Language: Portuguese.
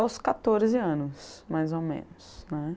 aos quatorze anos, mais ou menos, né.